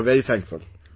So we are very thankful